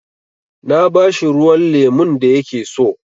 Na ba shi ruwan lemun da ya ke so.